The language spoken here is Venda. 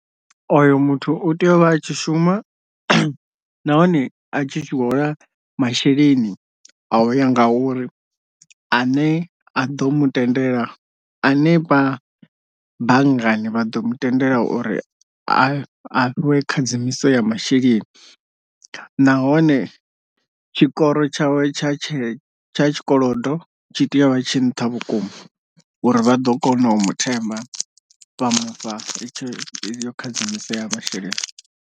Oyo muthu u tea u vha a tshi shuma nahone a tshi hola masheleni a u ya nga uri a ne a ḓo mutendele a ne vha banngani vha ḓo mu tendela uri a fhiwe khadzimiso ya masheleni, nahone tshikoro tshawe tsha tshe tsha tshikolodo tshi tea u vha tshi nṱha vhukuma uri vha ḓo kona u muthemba fha mufha khadzimiso ya masheleni.